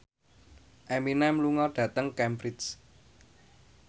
Eminem lunga dhateng Cambridge